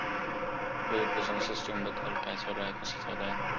Education system बद्दल काय चालू आह? कसं चालू आहे?